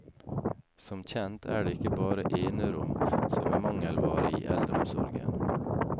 Som kjent er det ikke bare enerom som er mangelvare i eldreomsorgen.